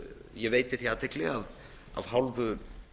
ég veiti því athygli að af hálfu